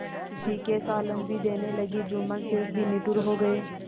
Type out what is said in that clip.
तीखे सालन भी देने लगी जुम्मन शेख भी निठुर हो गये